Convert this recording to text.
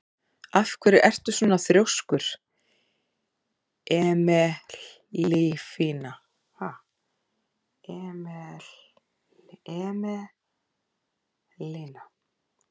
Af hverju ertu svona þrjóskur, Emelína?